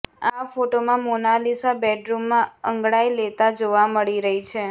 આ ફોટોમાં મોનાલિસા બેડરૂમમાં અંગડાઈ લેતા જોવા મળી રહી છે